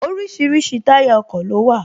Orísirísi táyà ọkọ̀ ló wà